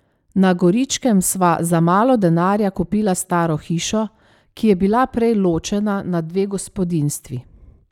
Na Goričkem sva za malo denarja kupila staro hišo, ki je bila prej ločena na dve gospodinjstvi.